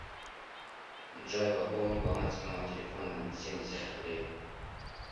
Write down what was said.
джой пополни баланс моего телефона на семьдесят рублей